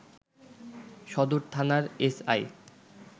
সদর থানার এসআই